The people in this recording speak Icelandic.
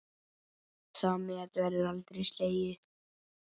Það met verður aldrei slegið.